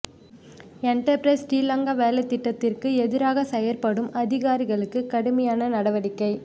enterprise Sri Lanka வேலைத்திட்டத்திற்கு எதிராக செயற்படும் அதிகாரிகளுக்கு கடுமையான நடவடிக்கை